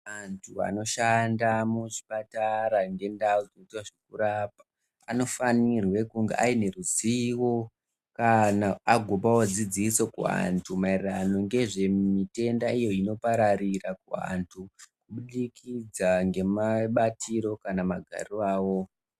Anthu anoshanda muzvipatara ngendau dzozvokurapa, anofanirwe kunge aine ruzivo, kana kuti vagopawo dzidziso kuanthu, maererano ngezve mitenda iyo inopararira kuanthu, Kubudikidza ngemabatiro, kana magariro avo.